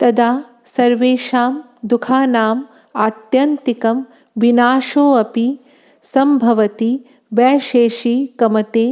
तदा सर्वेषां दुःखानां आत्यन्तिकं विनाशोऽपि सम्भवति वैशेषिकमते